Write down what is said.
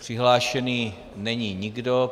Přihlášený není nikdo.